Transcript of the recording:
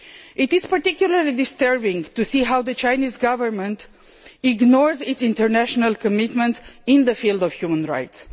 It is particularly disturbing to see how the Chinese Government ignores its international commitments in the field of human rights.